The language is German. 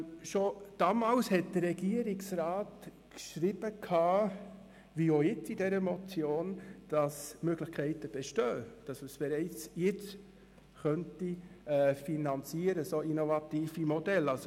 Schon damals hat der Regierungsrat geschrieben, die Möglichkeiten bestünden und es bereits jetzt möglich sei, innovative Modelle zu finanzieren.